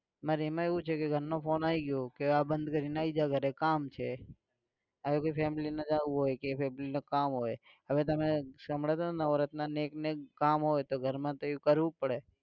મારે એમાં એવું છે કે ઘરનો phone આવી ગયો કે આ બંધ કરીને આવી જા ઘરે કામ છે, આવે કોઈ family માં જાવું હોય કે કે family ને કામ હોય હવે તમે નવરત્નને એક ને જ કામ હોય ઘરમાં તો એવું કરવું પડે